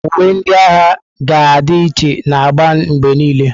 Uwe ndị agha ga-adị iche na agba mgbe niile.